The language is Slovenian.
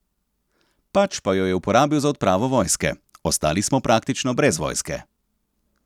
Pač pa jo je uporabil za odpravo vojske: "Ostali smo praktično brez vojske.